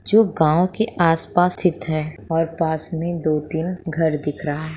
जो गाँव के आस-पास स्तिथ है और पास में दो तीन घर दिख रहा हैं।